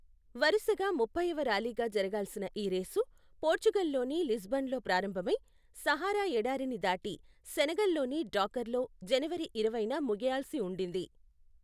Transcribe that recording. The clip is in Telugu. వరుసగా ముప్పైవ ర్యాలీగా జరగాల్సిన ఈ రేసు, పోర్చుగల్లోని లిస్బన్లో ప్రారంభమై, సహారా ఎడారిని దాటి సెనెగల్లోని డాకర్లో జనవరి ఇరవైన ముగియాల్సి ఉండింది.